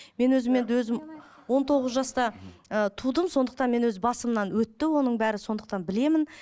мен өзім енді өзім он тоғыз жаста ыыы тудым сондықтан мен өз басымнан өтті оның бәрі сондықтан білемін